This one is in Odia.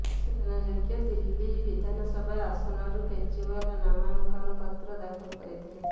ସୂଚନା ଯୋଗ୍ୟ ନୂଆଦିଲ୍ଲୀ ବିଧାନସଭା ଆସନରୁ କେଜରିଓ୍ୱାଲ ନାମାଙ୍କନ ପତ୍ର ଦାଖଲ କରିଥିଲେ